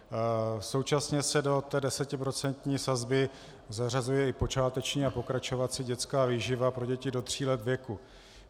Současně se do té desetiprocentní sazby zařazuje i počáteční a pokračovací dětská výživa pro děti do tří let věku.